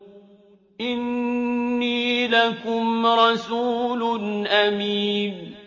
إِنِّي لَكُمْ رَسُولٌ أَمِينٌ